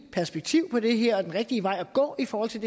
perspektiv på det her den rigtige vej at gå i forhold til